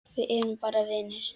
Við erum bara vinir.